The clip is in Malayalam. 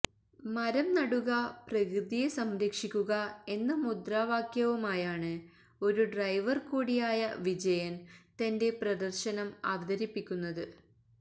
മരം നടുക പ്രകൃതിയെ സംരക്ഷിക്കുക എന്ന മുദ്രാവാക്യവുമായാണ് ഒരു ഡ്രൈവർ കൂടിയായ വിജയൻ തന്റെ പ്രദർശനം അവതരിപ്പിക്കുന്നത്